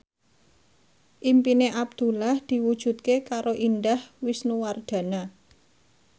impine Abdullah diwujudke karo Indah Wisnuwardana